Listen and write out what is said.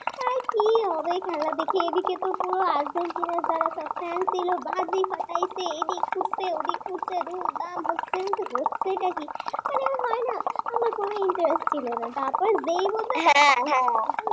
কি হবে খেলা দেখে এদিকে তো পুরো আর্জেন্টিনা জালায় সব fan লোক বাজে ফাটাচ্ছে এদিক ছুটছে ওদিক ছুটছে বাপরে আমি ভাবতেছি হচ্ছেটা কি মানে হয় না আমার কোন interest ছিল না তারপর যেই বলল